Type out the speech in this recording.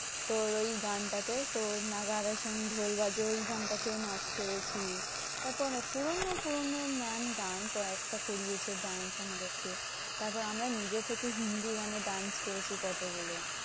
তোর ওই গানটা তে তোর ওই গানটা তেও নাচ করেছি। তারপরে পুরোনো পুরোনো mam গান কয়েকটা করিয়েছে dance আমাদের কে। তারপর আমরা নিজে থেকেই হিন্দি গানে dance করেছি কতগুলো।